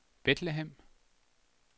Bethlehem